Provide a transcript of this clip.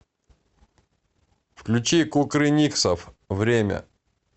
включи кукрыниксов время